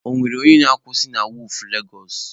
Ọ nwere onye na-akwusị na wọọfụ Legosụ?